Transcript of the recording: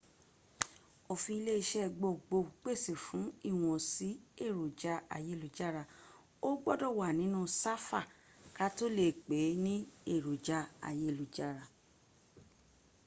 òfin ile iṣẹ́ gbohun gbohun pèsè fún ìwọ̀nsí èròjà ayélujára o gbúdọ̀ wá nínú sáfà kató lè pèé ní èròjà ayélujára